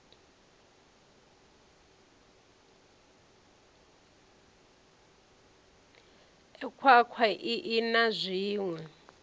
e khwakhwa ii na zwiṋwe